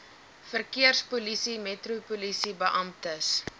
verkeerspolisie metropolisie beamptes